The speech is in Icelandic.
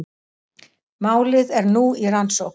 Málið er nú í rannsókn